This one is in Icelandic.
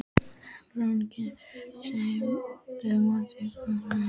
Baróninn gat útskýrt fyrir þeim að mótífin væru goðfræðileg.